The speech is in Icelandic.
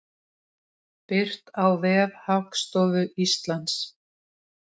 Birt á vef Hagstofu Íslands.